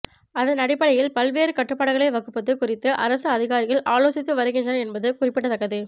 அதன் அடிப்படையில் பல்வேறு கட்டுபாடுகளை வகுப்பது குறித்து அரசு அதிகாரிகள் ஆலோசித்து வருகின்றனர் என்பது குறிப்பிடத்தக்கது